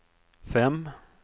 fem